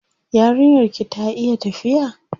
Yarinyar ki ta iya tafiya?